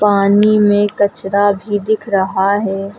पानी में कचरा भी दिख रहा है।